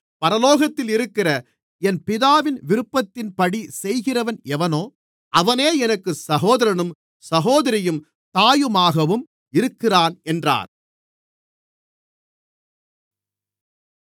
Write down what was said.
பரலோகத்திலிருக்கிற என் பிதாவின் விருப்பத்தின்படி செய்கிறவன் எவனோ அவனே எனக்கு சகோதரனும் சகோதரியும் தாயுமாகவும் இருக்கிறான் என்றார்